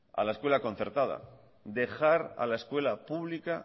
a la escuela concertada dejar a la escuela pública